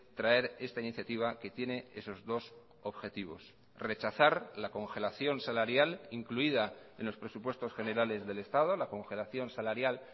traer esta iniciativa que tiene esos dos objetivos rechazar la congelación salarial incluida en los presupuestos generales del estado la congelación salarial